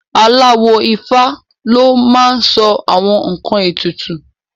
Aláwo Ifá ló máa n sọ àwọn ǹkan ètùtù